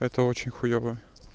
это очень хуёво